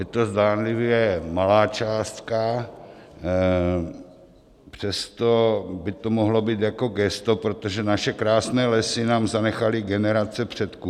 Je to zdánlivě malá částka, přesto by to mohlo být jako gesto, protože naše krásné lesy nám zanechaly generace předků.